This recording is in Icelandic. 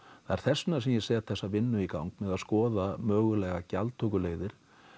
það er þess vegna sem ég set þessa vinnu í gang með að skoða mögulegar gjaldtökuleiðir